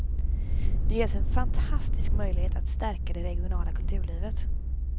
Nu ges en fantastisk möjlighet att stärka det regionala kulturlivet.